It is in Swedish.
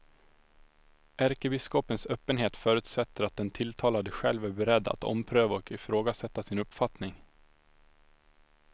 Ärkebiskopens öppenhet förutsätter att den tilltalade själv är beredd att ompröva och ifrågasätta sin uppfattning.